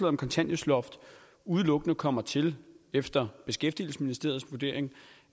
om kontanthjælpsloft udelukkende kommer til efter beskæftigelsesministeriets vurdering